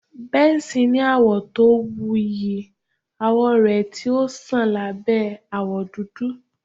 Benson ni awọ to wuyi awọ rẹ ti o ṣan labẹ awọ dudu